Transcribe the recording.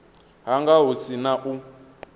hanga hu si na u